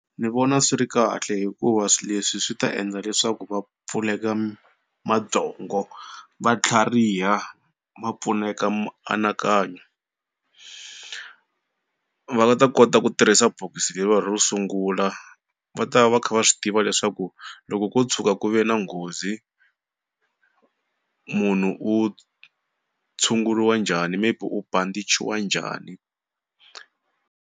Ni vona swi ri kahle hikuva swi leswi swi ta endla leswaku va pfuleka mabyongo va tlhariha va pfuneka mianakanyo. Va ta kota ku tirhisa bokisi leriwa ro sungula va ta va kha va swi tiva leswaku loko ko tshuka ku ve na nghozi munhu u tshunguriwa njhani maybe u bandichiwa njhani.